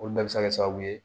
Olu bɛɛ bɛ se ka kɛ sababu ye